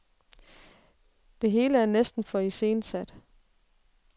Det hele er næsten for iscenesat.